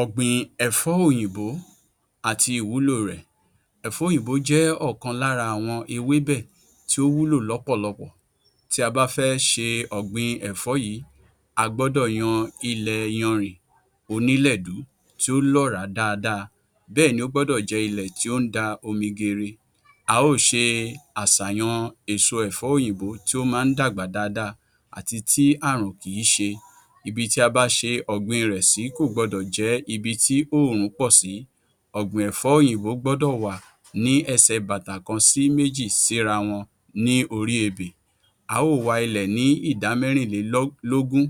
O̩gbin è̩fó̩ òyìnbó àti ìwúlò rè̩. È̩fó̩ òyìnbó jé̩ ò̩kan lára àwo̩n ewébè̩ tí ó wúlò ló̩pò̩lo̩pò̩ tí a bá fé̩ s̩e ò̩gbìn è̩fó̩ yìí, a gbó̩dò̩ yan ilè̩ iyanrìn onílè̩dú tó ló̩ràá dáadáa, bé̩è̩ni ó gbó̩dò̩ jé̩ ilè̩ tó ń dami geere. A ó s̩e às̩àyàn è̩fó̩ òyìnbó tí ó máa ń dàgbà dáadáa àti ti ààrùn kì ń s̩e. Ibi tí a bá s̩e ò̩gbìn rè̩ sí kò gbo̩dò̩ jé̩ ibi tí òòrùn pò̩ sí. Ògbìn è̩fó̩ òyìnbó gbó̩dò̩ wà ní e̩sè̩ bàtà kan sí méjì síra wo̩n ní orí ebè. A ò wa ilè̩ ní ìdá mé̩rìnlélógún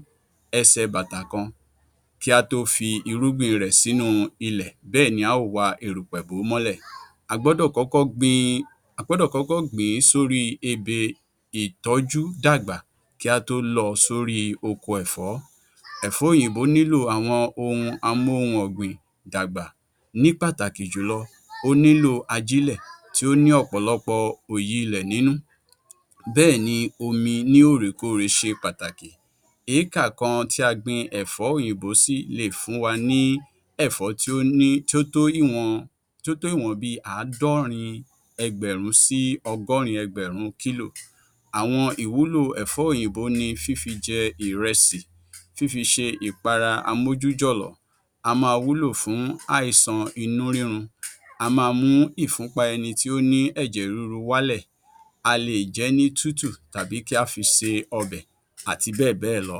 e̩sè̩ bàtà kan kí á tó fi irúgbìn rè̩ sí ilè̩ bé̩è̩ni a ó wa erùpè̩ bò ó mó̩lè̩. A gbọ̩́dò̩ kó̩kó̩ gbin, A gbọ̩́dò̩ kó̩kó̩ gbìn ín sóri ebè ìtó̩jú dàgbà kí á tó lo̩ ọ sí orí oko è̩fó̩. È̩fó̩ òyìnbó nílò ohun amóhùn-ò̩gbìn dàgbà, ní pàtàkì jùlo̩ o nílò ajílè̩ tí ó ní ò̩pò̩lo̩pò̩ òòyi ilè̩ nínú bé̩è̩ni omi ní òòrèkoòrè s̩e s̩e pàtàkì. Ékà kan tí a gbin è̩fó̩ òyìnbó sí lè fún wa ní è̩fó̩ tó ní tó tó ìwo̩n tó tó ìwo̩n bí i àádó̩rin e̩gbè̩rún sí o̩gó̩rin e̩gbè̩rún kílò. Àwo̩n ìwúlò è̩fó̩ òyìnbó ni fífí je̩ ìre̩sì, fífí s̩e ìpara amójújò̩lò̩, a máa wúlò fún àìsàn inú rírun, a máa mú ìfúnpa e̩ni tó ní è̩jè̩ ríru wálè̩, a lè jé̩ ní tútù tàbí kí á fi se o̩bè̩ àti bé̩è̩ bé̩è̩ lo̩.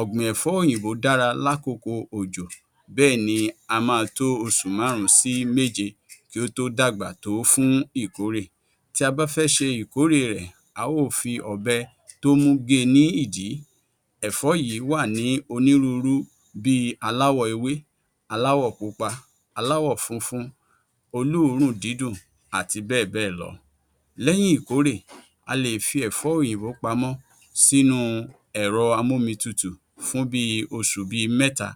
Ò̩gbìn è̩fó̩ òyìnbó dára lákòókó ojò bé̩è̩ni a máa tó os̩ù márùn-ún sí méje kí ó tó dàgbà tó fún ìkórè. Tí a bá fé̩ s̩e ìkórè rè̩ a ó fi ò̩be̩ tó mú ge ní ìdí. È̩fó̩ yìí wà ní onírúurú bí i aláwò̩ ewé, aláwò̩ pupa, aláwò̩ funfun, olóòórùn dídùn àti bé̩è̩ bé̩è̩ lo̩. Lé̩yìn ìkórè a lè fi è̩fó̩ òyìnbó pamó̩ sínu è̩ro̩ amómitutù fún bi os̩ù bi mé̩ta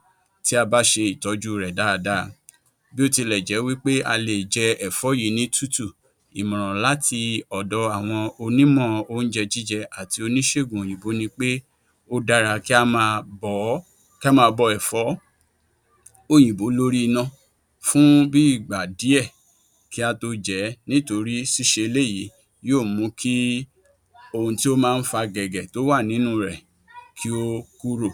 tí a bá s̩e ìtó̩jú rè̩ dáadáa, bí ó tilè̩ jé̩ wí pé a lè jé̩ è̩fó̩ yìí ní tútù, ìmò̩ràn láti ò̩do̩ àwo̩n onímò̩ oúnje̩ jíje̩ àti onís̩ègùn òyìnbó ò n ni pé ó dára kí á máa bò̩ ó̩ kí á máa bo̩ è̩fó̩ òyìnbó lórí iná fún bí ìgbà díè̩ kí á tó je̩ é̩, nítorí s̩ís̩e eléyìí yóò mú kí ohun tí ó máa ń fa gè̩gè̩ tí ó wà nínú rè̩ kí ó kúrò.